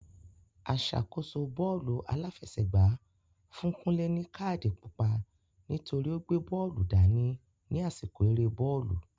Aṣàkóso bọ́ọ́lù aláfẹsẹ̀gbá fún Kunle ní káàdì pupa nítorí o gbé bóòlù dání ní àsìkò eré bọ́ọ̀lù.